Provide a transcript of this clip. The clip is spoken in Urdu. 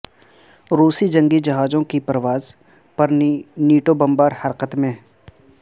روسی جنگی جہازوں کی پرواز پر نیٹو بمبار حرکت میں